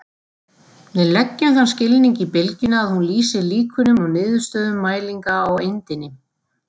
Við leggjum þann skilning í bylgjuna að hún lýsi líkunum á niðurstöðum mælinga á eindinni.